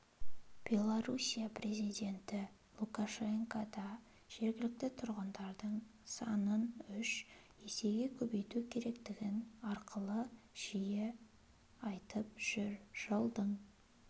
белоруссия президенті лукашенко да жергілікті тұрғындардың санын үш есеге көбейту керектігін арқылы жиі айтып жүр жылдың